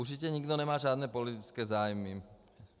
Určitě nikdo nemá žádné politické zájmy.